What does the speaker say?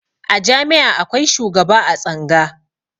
A jami'a akwai shugaba a tsanga